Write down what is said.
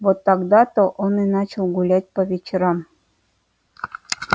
вот тогда то он и начал гулять по вечерам